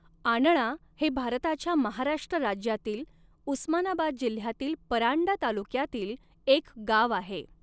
आणळा हे भारताच्या महाराष्ट्र राज्यातील उस्मानाबाद जिल्ह्यातील परांडा तालुक्यातील एक गाव आहे.